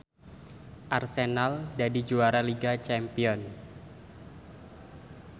Arsenal dadi juara liga champion